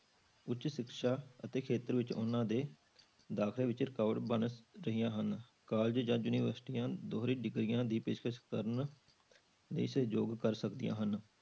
ਉੱਚ ਸਿੱਖਿਆ ਅਤੇ ਖੇਤਰ ਵਿੱਚ ਉਹਨਾਂ ਦੇ ਦਾਖਲੇ ਵਿੱਚ ਰੁਕਾਵਟ ਬਣ ਰਹੀਆਂ ਹਨ college ਜਾਂ ਯੂਨੀਵਰਸਟੀਆਂ ਦੋਹਰੀ degrees ਦੀ ਪੇਸ਼ਕਸ ਕਰਨ ਲਈ ਸਹਿਯੋਗ ਕਰ ਸਕਦੀਆਂ ਹਨ।